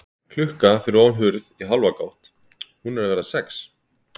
Klukka fyrir ofan hurð í hálfa gátt, hún er að verða sex.